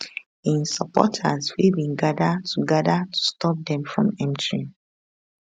im supporters wey bin gada to gada to stop dem from entering